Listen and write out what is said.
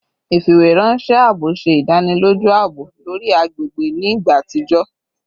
Ifiweranṣẹ aabo ṣe idaniloju aabo lori agbegbe ni igba atijọ